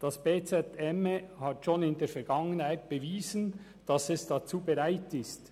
Das bz emme hat schon in der Vergangenheit bewiesen, dass es dazu bereit ist.